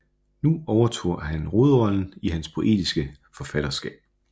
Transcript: Nu overtog den hovedrollen i hans poetiske forfatterskab